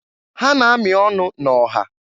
Ha na-amị ọnụ na-ọha.